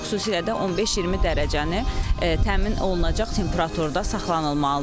Xüsusilə də 15-20 dərəcəni təmin olunacaq temperaturda saxlanılmalıdır.